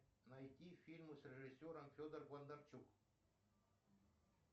найти фильмы с режиссером федор бондарчук